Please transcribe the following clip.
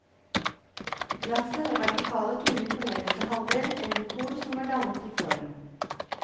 Glasset har vertikale tunger på nederste halvdel, en dekor som var dannet i form.